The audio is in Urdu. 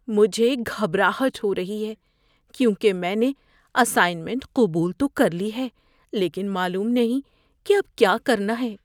مجھے گھبراہٹ ہو رہی ہے کیونکہ میں نے اسائنمنٹ قبول تو کر لی ہے لیکن معلوم نہیں کہ اب کیا کرنا ہے۔